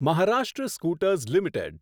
Maharashtra scooters limited